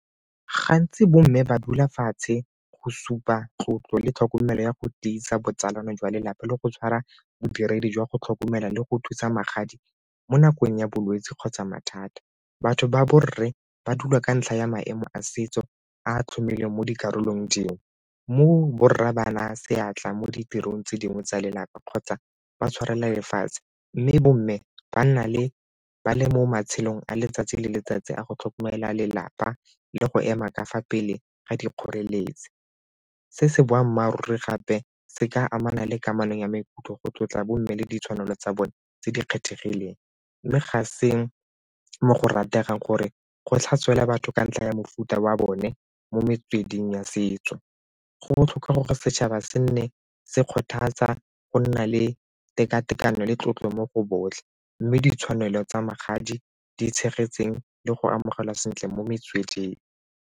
Gantsi bo mme ba dula fatshe go supa tlotlo le tlhokomelo ya go tiisa botsalano jwa lelapa le go tshwara bodiredi jwa go tlhokomela le go thusa magadi mo nakong ya bolwetse kgotsa mathata. Batho ba borre ba dula ka ntlha ya maemo a setso a tlhomilweng mo dikarolong dingwe mo borra bana seatla mo ditirong tse dingwe tsa lelapa kgotsa ba tshwarela lefatshe mme bomme ba nna ba le mo matshelong a letsatsi le letsatsi a go tlhokomela lelapa le go ema kafa pele ga di kgoreletsi. Se se boammaaruri gape se ka amana le kamanong ya maikutlo go tlotla bo mme le ditshwanelo tsa bone tse di kgethegileng mme ga se mo go rategang gore go tlhaselwa batho ka ntlha ya mofuta wa bone mo metsweding ya setso. Go botlhokwa gore setšhaba se nne se kgothatsa go nna le tekatekano le tlotlo mo go botlhe mme ditshwanelo tsa magadi di tshegetsweng le go amogela sentle mo metsweding.